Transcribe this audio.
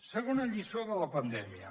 segona lliçó de la pandèmia